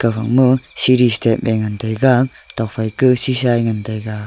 aga ma seri step ye ngan taiga tokphai kah sheesha ye ngan taiga.